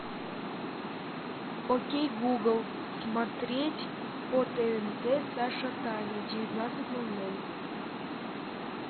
окей гугл смотреть по тнт саша таня в девятнадцать ноль ноль